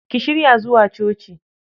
Ki shirya zuwa coci